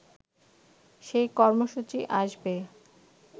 সেই কর্মসূচি আসবে